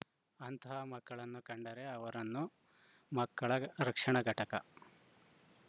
ಅಂತಹ ಮಕ್ಕಳನ್ನು ಕಂಡರೆ ಅವರನ್ನು ಮಕ್ಕಳ ರಕ್ಷಣಾ ಘಟಕ